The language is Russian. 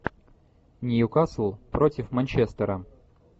ньюкасл против манчестера